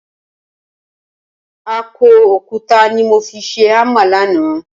Akọ òkúta ni mo fi ṣe hámà lánàá